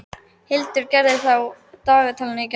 Hildigerður, hvað er á dagatalinu í dag?